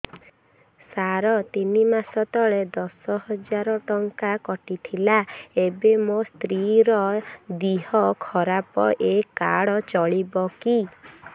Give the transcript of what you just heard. ସାର ତିନି ମାସ ତଳେ ଦଶ ହଜାର ଟଙ୍କା କଟି ଥିଲା ଏବେ ମୋ ସ୍ତ୍ରୀ ର ଦିହ ଖରାପ ଏ କାର୍ଡ ଚଳିବକି